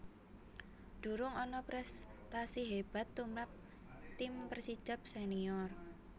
Durung ana prèstasi hébat tumrap tim Persijap Senior